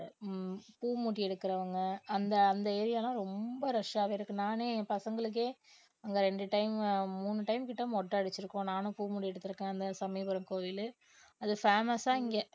ஹம் பூ முடி எடுக்கிறவங்க அந்த அந்த area லாம் ரொம்ப rush ஆவே இருக்கு நானே என் பசங்களுக்கே அங்க ரெண்டு time மூணு time கிட்ட மொட்டை அடிச்சிருக்கோம் நானும் பூ முடி எடுத்திருக்கேன் அந்த சமயபுரம் கோயிலு அது famous ஆ இங்க